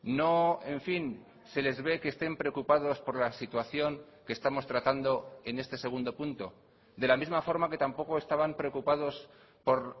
no en fin se les ve que estén preocupados por la situación que estamos tratando en este segundo punto de la misma forma que tampoco estaban preocupados por